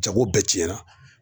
Jago bɛɛ tiɲɛna